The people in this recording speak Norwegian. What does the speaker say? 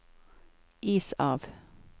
is av